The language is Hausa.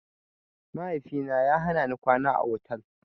Mahaifina ya hanani kwana a otal.